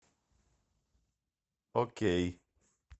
окей